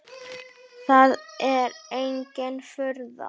Það er engin furða.